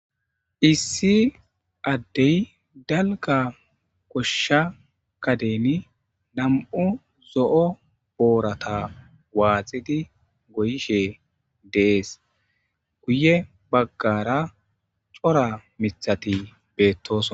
Issi addey dalga koshsha kaden nam'u zo'o boorata waaxidi goyishe dees guye baggara cora mithati beettos.